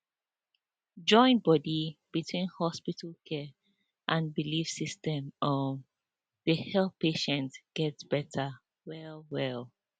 join body between hospital care and belief system um dey help patients get better wellwell